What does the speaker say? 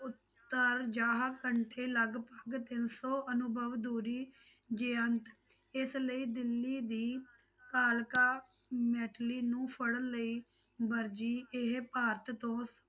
ਉੱਤਰ ਲਗਪਗ ਤਿੰਨ ਸੌ ਅਨੁਭਵ ਦੂਰੀ ਇਸ ਲਈ ਦਿੱਲੀ ਦੀ ਕਾਲਕਾ ਮੈਟਲੀ ਨੂੰ ਫੜਨ ਲਈ ਵਰਜੀ ਇਹ ਭਾਰਤ ਤੋਂ